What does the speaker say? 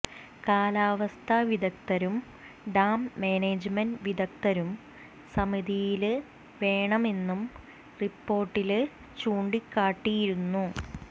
കാലാവസ്ഥാ വിദഗദ്ധരും dam management വിദഗ്ദ്ധരും സമിതിയില് വേണമെന്നും റിപോര്ടില് ചൂണ്ടിക്കാട്ടിയിരുന്നു